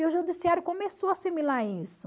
E o judiciário começou a assimilar isso.